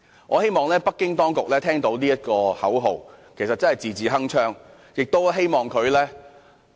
我希望北京當局聽到這個口號，真的是字字鏗鏘。